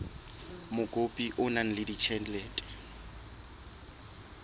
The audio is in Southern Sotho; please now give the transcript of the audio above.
mokopi o na le ditjhelete